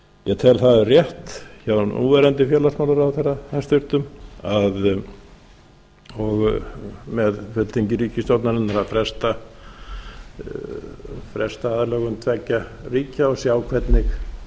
ég tel það rétt hjá núverandi félagsmálaráðherra hæstvirtur með ríkisstjórnarinnar að fresta aðlögun tveggja ríkja og sjá hvernig